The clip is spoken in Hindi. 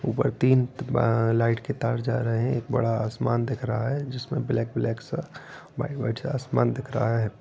ऊपर तीन बा-आ लाइट के तार जा रहे है एक बड़ा आसमान दिख रहा है जिसमे ब्लैक - ब्लैक सा व्हाइट - व्हाइट सा आसमान दिख रहा है।